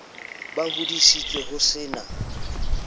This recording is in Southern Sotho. ba hodisitswe ho se na